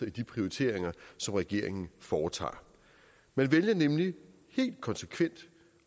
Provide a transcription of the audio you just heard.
i de prioriteringer som regeringen foretager man vælger nemlig helt konsekvent